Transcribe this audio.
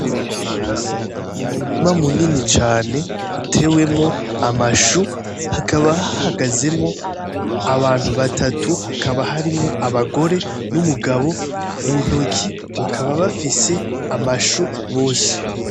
N,umurima munini cane utewemo amashu hakaba hahagazemwo abantu batatu hakaba harimwo abagore n,abagabo muntoki bakaba bafise amashu bose.